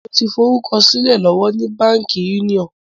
Mo ń fi orúkọ sílẹ̀ lọ́wọ́ ni Báńkì Union.